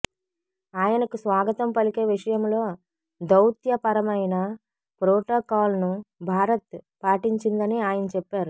ఆయనకు స్వాగతం పలికే విషయంలో దౌత్యపరమైన ప్రొటోకాల్ను భారత్ పాటించిందని ఆయన చెప్పారు